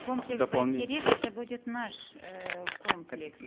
комплекс байтерек это будет наш э комплекс